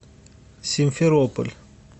симферополь